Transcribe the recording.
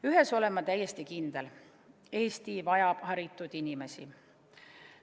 Ühes olen ma täiesti kindel: Eesti vajab haritud inimesi.